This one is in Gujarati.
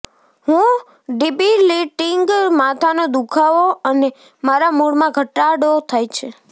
હું ડિબિલિટિંગ માથાનો દુઃખાવો અને મારા મૂડમાં ઘટાડો થાય છે